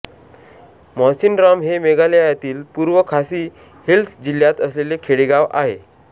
मॉसिनराम हे मेघालयातील पूर्व खासी हिल्स जिल्हात असलेले खेडेगाव आहे